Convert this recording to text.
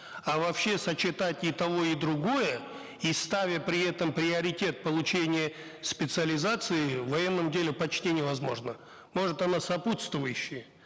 а вообще сочетать и и другое и ставя при этом приоритет получения специализации в военном деле почти невозможно может оно сопутствующее